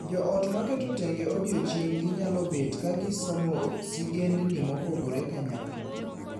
Joot maketo tenge odiochienggi nyalo bet ka gisomo sigendni mopogore kanyakla.